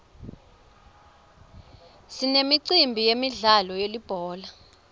sinemicimbi yemidlalo yelibhola